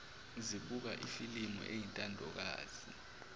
zibuka ifilimu eyintandokazi